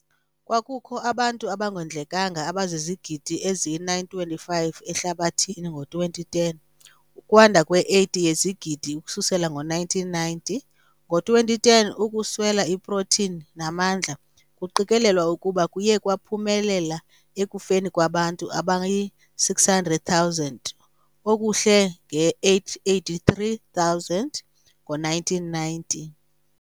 Kwakukho abantu abangondlekanga abazizigidi eziyi-925 ehlabathini ngo-2010, ukwanda kwe-80 yezigidi ukususela ngo-1990. Ngo-2010 ukuswela iprotini namandla kuqikelelwa ukuba kuye kwaphumela ekufeni kwabantu abayi-600,000 okuhle nge-883,000 ngo-1990.